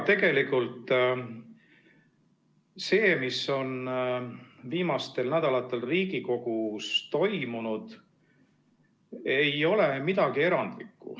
Ega see, mis on viimastel nädalatel Riigikogus on toimunud, ei ole midagi erandlikku.